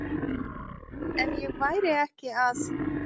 Ef ég væri ekki að